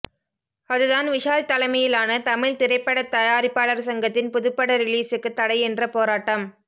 அதுதான் விஷால் தலைமையிலான தமிழ் திரைப்படதயாரிப்பாளர் சங்கத்தின் புதுப்பட ரிலீசுக்கு தடை என்ற போராட்டம்